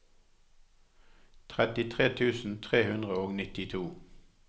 trettitre tusen tre hundre og nittito